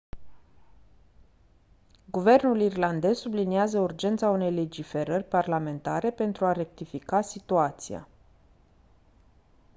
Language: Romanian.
guvernul irlandez subliniază urgența unei legiferări parlamentare pentru a rectifica situația